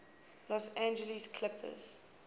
los angeles clippers